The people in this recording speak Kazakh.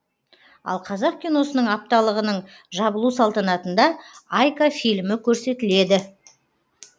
ал қазақ киносы апталығының жабылу салтанатында айка фильмі көрсетіледі